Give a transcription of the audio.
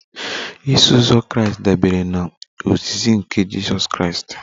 Iso uzọ Kraịst dabere na ozizi nke Jizọs Kraịst